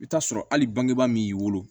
I bɛ t'a sɔrɔ hali bangebaa min y'i wolo